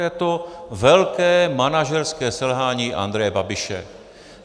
Je to velké manažerské selhání Andreje Babiše.